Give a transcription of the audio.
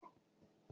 Mọ má kó adire láìpé.